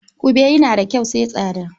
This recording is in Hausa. Ƙube tana da kyau sai tsada.